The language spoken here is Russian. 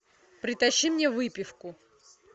притащи мне выпивку